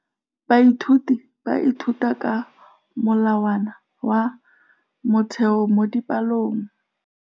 Baithuti ba ithuta ka molawana wa motheo mo dipalong.